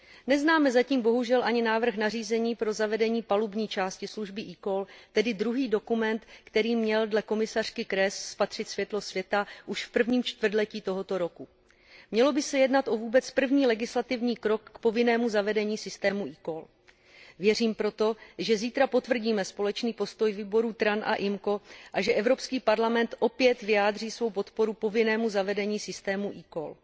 Neznáme zatím bohužel ani návrh nařízení na zavedení palubní části služby eCall, tedy druhý dokument, který měl dle komisařky Kroesové spatřit světlo světa už v prvním čtvrtletí tohoto roku. Mělo by se jednat o vůbec první legislativní krok k povinnému zavedení systému eCall. Věřím proto, že zítra potvrdíme společný postoj výborů TRAN a IMCO a že Evropský parlament opět vyjádří svou podporu povinnému zavedení systému eCall.